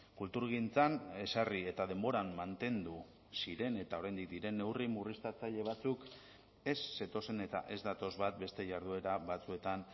kulturgintzan ezarri eta denboran mantendu ziren eta oraindik diren neurri murriztatzaile batzuk ez zetozen eta ez datoz bat beste jarduera batzuetan